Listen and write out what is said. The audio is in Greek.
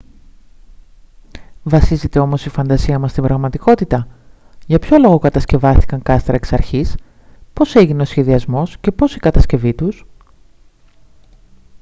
βασίζεται όμως η φαντασία μας στην πραγματικότητα για ποιον λόγο κατασκευάστηκαν κάστρα εξ αρχής πώς έγινε ο σχεδιασμός και πώς η κατασκευή τους